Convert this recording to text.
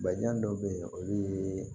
Bajijan dɔw bɛ yen olu ye